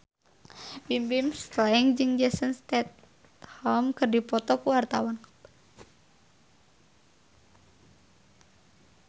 Bimbim Slank jeung Jason Statham keur dipoto ku wartawan